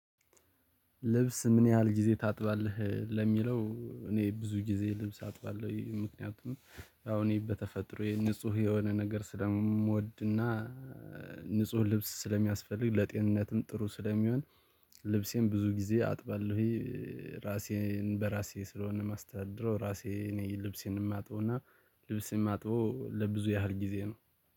ልብስ ምን ያህል ጊዜ ታጥባለህ? ለሚለው እኔ ብዙ ጊዜ ልብስ አጥባለሁ። ይሄ ምክንያቱም አሁን እኔ በተፈጥሮ ንጹህ የሆነ ነገር ስለምወድና። ንጹህ ልብስ ስለሚያስፈልግ ለጤንነትም ጥሩ ስለሚሆን። ልብሴን ብዙ ጊዜ አጥባለሁኝ። ራሴን በራሴ ስለሆነ ማስተዳደር ራሴ እኔ ልብሴን የማጥበው እና ልብሴን የማጥበው ለብዙ ያህል ጊዜ ነው